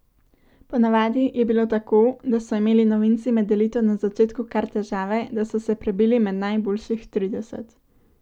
Ponavadi je bilo tako, da so imeli novinci med elito na začetku kar težave, da so se prebili med najboljših trideset.